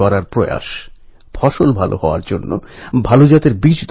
সুশাসন এবং উন্নয়নের সুফল প্রত্যেক ভারতবাসীর কাছে পৌঁছে দিতে হবে